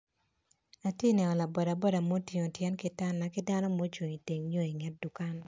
Atye neno laboda boda mo otingo tye kitana ki dano mo ocung i teng yo i nget dukan.